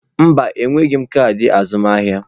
Mba, enweghị m kaadị azụmaahịa.